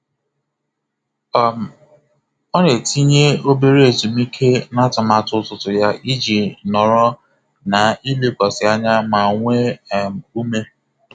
Ọ um na-etinye obere ezumike na atụmatụ ụtụtụ ya iji nọrọ na ilekwasị anya ma nwee um ume.